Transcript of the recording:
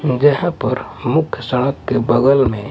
जहां पर मुख्य सड़क के बगल में।